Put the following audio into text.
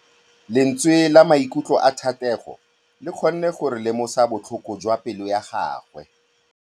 Lentswe la maikutlo a Thategô le kgonne gore re lemosa botlhoko jwa pelô ya gagwe.